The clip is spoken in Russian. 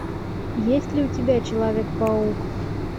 есть ли у тебя человек паук